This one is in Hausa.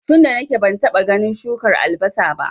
tunda nake bantaba ganin shukar albasa ba